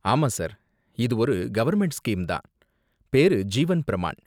ஆமா சார், இது ஒரு கவர்ன்மெண்ட் ஸ்கீம் தான், பேரு ஜீவன் பிரமான்.